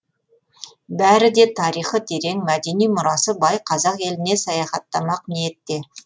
бәрі де тарихы терең мәдени мұрасы бай қазақ еліне саяхаттамақ ниетте